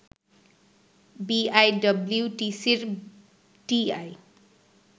বিআইডিব্লিউটিসির TI